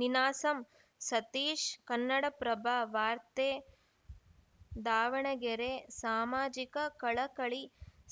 ನೀನಾಸಂ ಸತೀಶ್‌ ಕನ್ನಡಪ್ರಭ ವಾರ್ತೆ ದಾವಣಗೆರೆ ಸಾಮಾಜಿಕ ಕಳಕಳಿ